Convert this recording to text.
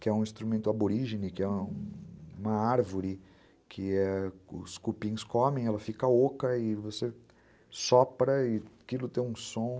que é um instrumento aborígene, que é uma árvore que ãh os cupins comem, ela fica oca e você sopra e aquilo tem um som.